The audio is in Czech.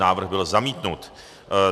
Návrh byl zamítnut.